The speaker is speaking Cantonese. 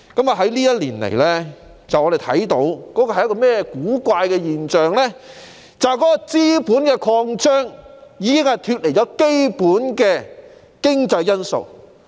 過去一年來，我們看到一種古怪現象，便是資本擴張已脫離基本的經濟因素。